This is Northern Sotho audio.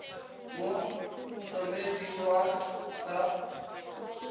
mo somedi wa t sa